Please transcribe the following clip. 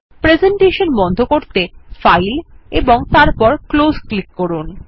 presentation বন্ধ করতে file ও তারপর ক্লোজ ক্লিক করুন